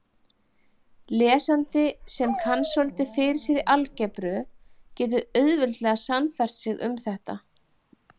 Lesandi sem kann svolítið fyrir sér í algebru getur auðveldlega sannfært sig um þetta.